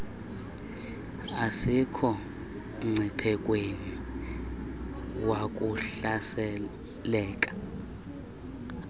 asikho mngciphekweni wakuhlaseleka